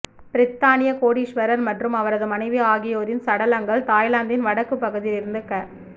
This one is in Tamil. பிரித்தானிய கோடீஸ்வரர் மற்றும் அவரது மனைவி ஆகி யோரின் சடலங்கள் தாய்லாந்தின் வடக்கு பகுதியிலிருந்து க